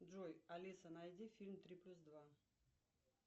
джой алиса найди фильм три плюс два